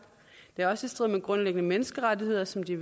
det er også i strid med grundlæggende menneskerettigheder som de